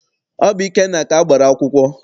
Ọ bụ Ikenna ka a gbara akwụkwọ.